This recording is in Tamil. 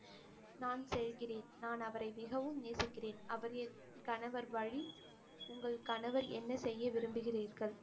நான் செல்கிறேன், நான் அவரை மிகவும் நேசிக்கிறேன், அவர் என் கணவர் என்ன செய்ய விரும்புகிறீர்கள்